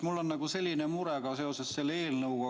Mul on veel üks mure seoses selle eelnõuga.